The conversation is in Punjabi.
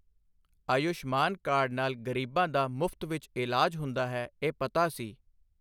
ਆਯੁਸ਼ਮਾਨ ਕਾਰਡ ਨਾਲ ਗ਼ਰੀਬਾਂ ਦਾ ਮੁਫ਼ਤ ਵਿੱਚ ਇਲਾਜ ਹੁੰਦਾ ਹੈ ਇਹ ਪਤਾ ਸੀ।